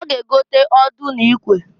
Ha ga-egota ọdụ na ikwe